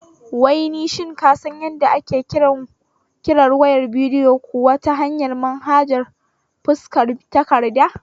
Wai shin ka san yadda ake kirar wayar bidiyo kuwa ta manhajar fuskar takarda?